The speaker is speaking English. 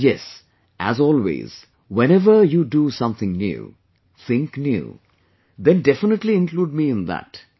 And yes, as always, whenever you do something new, think new, then definitely include me in that